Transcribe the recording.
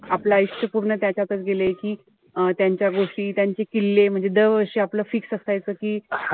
आपलं आयुष्य पूर्ण त्याच्यातच गेलंय कि अं त्यांच्या गोष्टी, त्यांचे किल्ले. म्हणजे दर वर्षी आपलं fix असायचं कि,